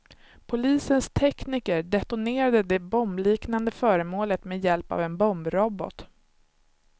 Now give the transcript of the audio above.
Polisens tekniker detonerade det bombliknande föremålet med hjälp av en bombrobot.